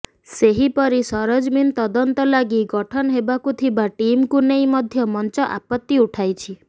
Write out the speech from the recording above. ସେହିପରି ସରଜମିନ ତଦନ୍ତ ଲାଗି ଗଠନ ହେବାକୁ ଥିବା ଟିମକୁ ନେଇ ମଧ୍ୟ ମଞ୍ଚ ଆପତ୍ତି ଉଠାଇଛି